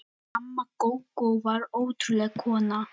Amma Gógó var ótrúleg kona.